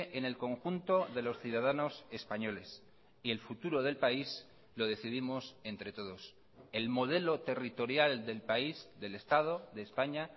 en el conjunto de los ciudadanos españoles y el futuro del país lo decidimos entre todos el modelo territorial del país del estado de españa